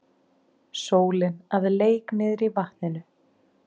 Sólin að leik niðrí vatninu.